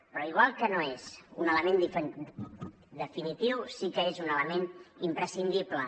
però igual que no és un element definitiu sí que és un element imprescindible